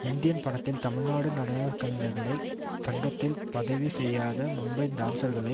Indian படத்தில் தமிழ்நாடு நடன கலைஞர்கள் சங்கத்தில் பதிவு செய்யாத மும்பை டான்ஸர்களை